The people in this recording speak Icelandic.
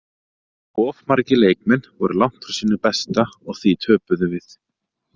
Of margir leikmenn voru langt frá sínu besta og því töpuðum við.